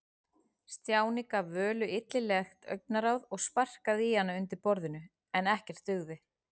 Stjáni gaf Völu illilegt augnaráð og sparkaði í hana undir borðinu, en ekkert dugði.